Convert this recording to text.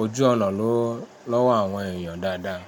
ojú ọ̀nà lọ́wọ́ àwọn èèyàn dáadáa.